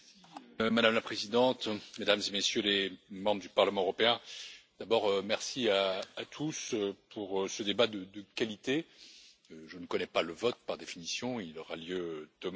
Madame la Présidente, Mesdames et Messieurs les députés au Parlement européen, d'abord, merci à tous pour ce débat de qualité, je ne connais pas le vote, par définition, il aura lieu demain.